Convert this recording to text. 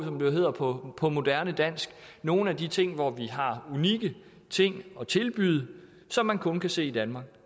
som det hedder på på moderne dansk nogle af de ting hvor vi har unikke ting at tilbyde som man kun kan se i danmark